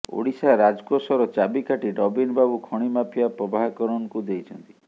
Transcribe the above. ଓଡିଶା ରାଜକୋଷର ଚାବିକାଠି ନବୀନ ବାବୁ ଖଣି ମାଫିଆ ପ୍ରଭାକରନକୁ ଦେଇଛନ୍ତି